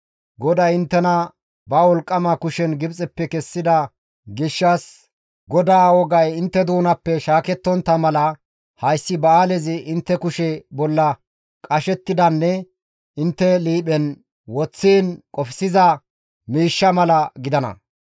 GODAY inttena ba wolqqama kushen Gibxeppe kessida gishshas, GODAA wogay intte doonappe shaakettontta mala, hayssi ba7aalezi intte kushe bolla qashettidanne intte liiphen woththiin qofsiza miishsha mala gidana.